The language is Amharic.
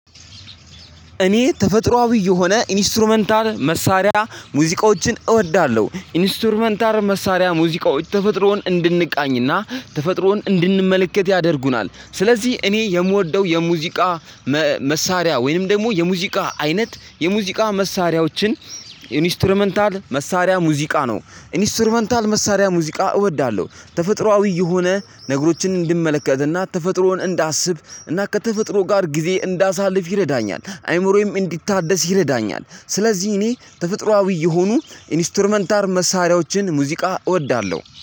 እኔ ተፈጥሮአዊ የሆነ ኢንስትሩመንታል መሳሪያ ሙዚቆችን እወዳለሁ። ኢንስትሩመንታል መሳሪያ ሙዚቃዎች ተፈጥሮን እንድንቃኝና ተፈጥሮን እንድንመለከት ያደርጉናል። ስለዚህ እኔ የምወደው የሙዚቃ መሳሪያ ወይም ደግሞ የሙዚቃ አይነት የሙዚቃ መሳሪያዎችን ኢንስትሩመንታል መሳሪያ ሙዚቃ ነው። ኢንስትሩመንታል መሳሪያ ሙዚቃ እወዳለሁ። ተፈጥሮአዊ የሆነ ነገሮችን እንድመለከትና ተፈጥሮን እንዳስብ እና ከተፈጥሮ ጋር ጊዜ እንዳሳልፍ ይረዳኛል። አእምሮዬም እንዲታደስ ይረዳኛል። ስለዚህ እኔ ተፈጥሮአዊ የሆኑ ኢንስትሩመንታል መሳሪያዎችን ሙዚቃ እወዳለሁ።